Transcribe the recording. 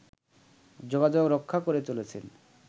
যোগাযোগ রক্ষা করে চলেছেন